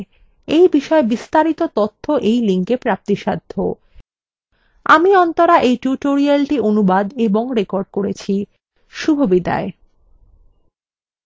আমি অন্তরা এই টিউটোরিয়ালটি অনুবাদ এবং রেকর্ড করেছি এই টিউটোরিয়ালে অংশগ্রহন করার জন্য ধন্যবাদ